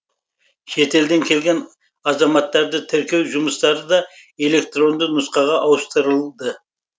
шетелден келген азаматтарды тіркеу жұмыстары да электронды нұсқаға ауыстырылды